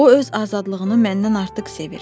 O öz azadlığını məndən artıq sevir.